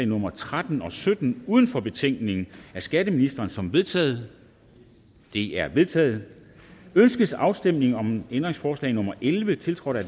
nummer tretten og sytten uden for betænkningen af skatteministeren som vedtaget de er vedtaget ønskes afstemning om ændringsforslag nummer elleve tiltrådt af